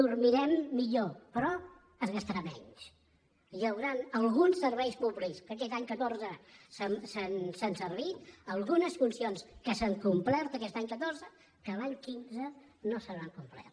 dormirem millor però es gastarà menys hi hauran alguns serveis públics que aquest any catorze s’han servit algunes funcions que s’han complert aquest any catorze que l’any quinze no es compliran